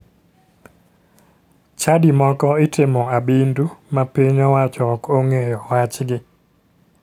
Chadi moko itimo abindu ma piny owacho ok ong'eyo wachgi.